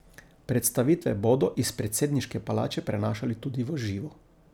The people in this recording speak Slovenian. Predstavitve bodo iz predsedniške palače prenašali tudi v živo.